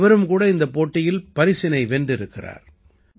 இவரும் கூட இந்தப் போட்டியில் பரினை வென்றிருக்கிறார்